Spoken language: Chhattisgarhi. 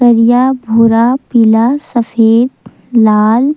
करिया भूरा पीला सफ़ेद लाल--